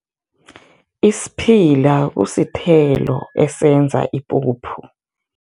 Isiphila kusithelo esenza ipuphu.